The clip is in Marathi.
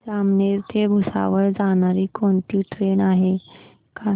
जामनेर ते भुसावळ जाणारी कोणती ट्रेन आहे का